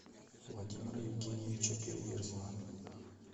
владимира евгеньевича переверзева